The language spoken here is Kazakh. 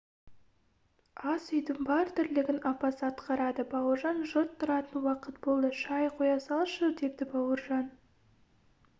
ас үйдің бар тірлігін апасы атқарады бауыржан жұрт тұратын уақыт болды шай қоя салшы деді бауыржан